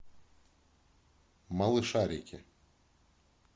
малышарики